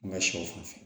An ka sɛw fan fɛ